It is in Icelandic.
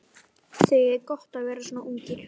Þið eigið gott að vera svona ungir.